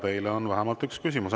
Teile on vähemalt üks küsimus.